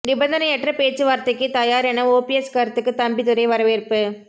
நிபந்தனையற்ற பேச்சு வார்த்தைக்கு தயார் என ஓபிஎஸ் கருத்துக்கு தம்பிதுரை வரவேற்பு